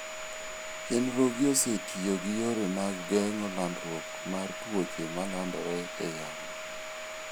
Chenrogi osetiyo gi yore mag geng'o landruok mar tuoche malandore e yamo.